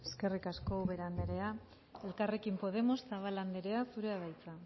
dela eskerrik asko ubera andrea elkarrekin podemos zabala andrea zurea da hitza